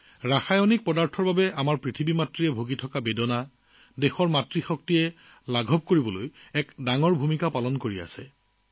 ৰাসায়নিক প্ৰয়োগৰ বাবে আমাৰ ধৰিত্ৰী মাক বচাবলৈ আমাৰ দেশৰ মাতৃশক্তিয়ে ডাঙৰ ভূমিকা পালন কৰি আছে